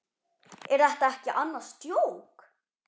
Er þetta ekki annars djók?